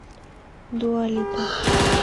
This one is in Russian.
дуа липа